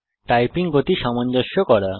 typing গতি সামঞ্জস্য করা